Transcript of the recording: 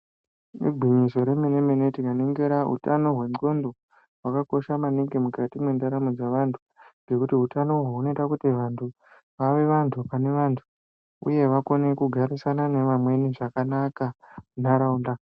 Igwinyiso remenemene tikaningira utano hwexhondo hwakakosha maningi mukati mwendaramo dzevantu ngekuti hutano uhwu hunoita kuti vantu vave vantu pane vantu uye vakone kugarisana nevamweni zvakanaka munharaunda .